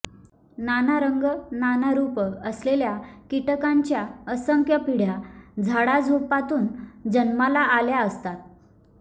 नाना रंग नाना रूप असलेल्या कीटकांच्या असंख्य पिढ्या झाडाझुडपातून जन्माला आल्या असतात